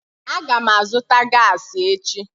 Aga m azụta gaasi echi